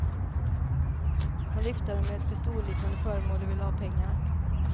Han viftade med ett pistolliknande föremål och ville ha pengar.